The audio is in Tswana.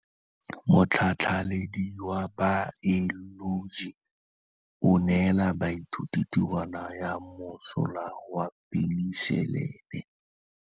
Motlhatlhaledi wa baeloji o neela baithuti tirwana ya mosola wa peniselene.